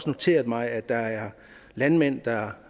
noteret mig at der er landmænd der